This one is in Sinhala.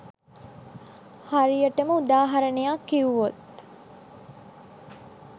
හරියටම උදාහරණයක් කිව්වොත්